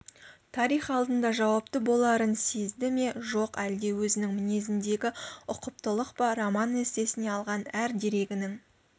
тарих алдында жауапты боларын сезді ме жоқ әлде өзінің мінезіндегі ұқыптылық па роман-эссесіне алған әр дерегінің